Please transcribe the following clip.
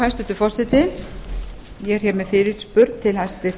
hæstvirtur forseti ég er með fyrirspurn til hæstvirts